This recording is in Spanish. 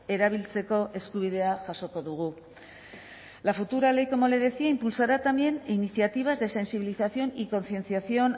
erabiltzeko eskubidea jasoko dugu la futura ley como le decía impulsará también iniciativas de sensibilización y concienciación